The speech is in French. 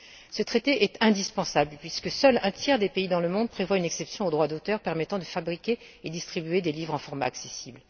Ce traité est indispensable puisque seul un tiers des pays dans le monde prévoit une exception aux droits d'auteur permettant de fabriquer et distribuer des livres dans un format accessible.